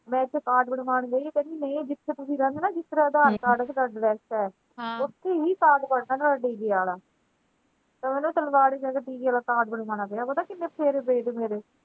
ਮੈਂ ਇਥੇ card ਬਣਵਾਉਣ ਗਈ ਕਹਿੰਦੀ ਨਹੀਂ ਜਿਥੇ ਤੁਸੀਂ ਰਹਿੰਦੇ ਨਾ ਜਿਥੇ ਤੁਹਾਡਾ ਅਧਾਰ card ਤੇ address ਹੈ ਹਾਂ ਓਥੇ ਈ card ਬਣਨਾ ਤੁਹਾਡਾ ਆਲਾ ਤੇ ਮੈਨੂੰ ਜਾ ਕੇ ਆਲਾ card ਬਣਵਾਉਣਾ ਪਿਆ ਪਤਾ ਕਿੰਨੇ ਫੇਰੇ ਪਏ ਮੇਰੇ।